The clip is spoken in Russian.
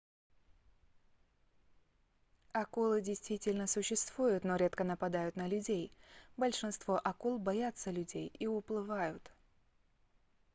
акулы действительно существуют но редко нападают на людей большинство акул боятся людей и уплывают